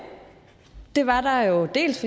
det var der jo dels